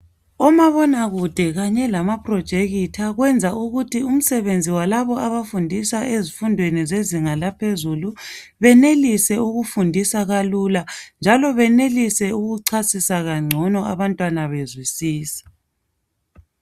Umabonakude kanye lama phurojekitha wenza umsebenzi walaba abafundisa ezifundweni bezinga laphezuli benelise ukufundisa kalula njalo benelise ukuchasisa kangcono abantwana bezwisisa